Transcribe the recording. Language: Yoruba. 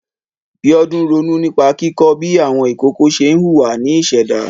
Bíọ́dún ronú nípa kíkọ́ bí àwọn ìkokò ṣe ń hùwà ní ìṣẹ̀dá.